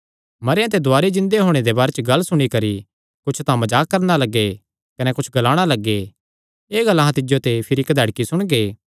मरेयां ते दुवारी जिन्दे होणे दे बारे च गल्ल सुणी करी कुच्छ तां मजाक करणा लग्गे कने कुच्छ ग्लाणा लग्गे एह़ गल्ल अहां तिज्जो ते भिरी कधैड़की सुणगे